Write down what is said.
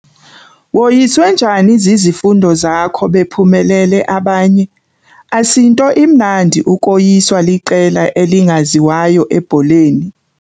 Woyiswe njani zizifundo zakho bephumelele abanye? Asinto imnandi ukoyiswa liqela elingaziwayo ebholeni.